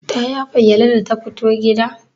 Ta yafa gyalle da ta fito gida?